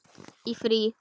Í frí.